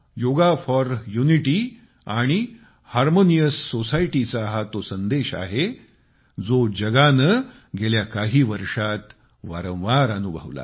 yoga for unity आणि harmonious society चा हा तो संदेश आहे जो जगाने गेल्या काही वर्षात वारंवार अनुभवला